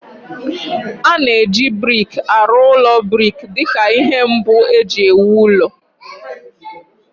A na-eji brik arụ ụlọ brik dị ka ihe mbụ e ji ewu ụlọ